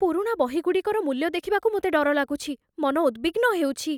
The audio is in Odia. ପୁରୁଣା ବହିଗୁଡ଼ିକର ମୂଲ୍ୟ ଦେଖିବାକୁ ମୋତେ ଡର ଲାଗୁଛି, ମନ ଉଦବିଗ୍ନ ହେଉଛି।